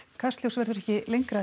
kastljós verður ekki lengra í